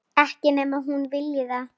Ekki nema þú viljir það.